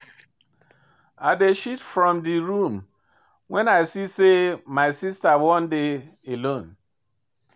I dey shift from di room wen I see sey my sista wan dey alone.